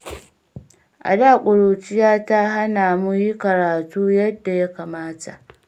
A da ƙuruciya ta hana mu yi karatu yanda ya kamata.